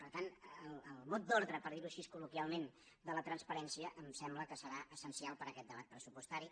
per tant el mot d’ordre per dir ho així col·loquialment de la transparència em sembla que serà essencial per a aquest debat pressupostari